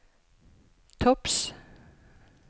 topps